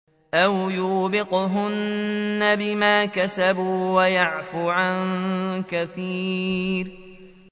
أَوْ يُوبِقْهُنَّ بِمَا كَسَبُوا وَيَعْفُ عَن كَثِيرٍ